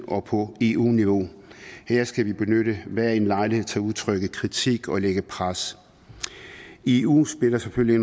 og på eu niveau her skal vi benytte hver en lejlighed til at udtrykke kritik og lægge pres eu spiller selvfølgelig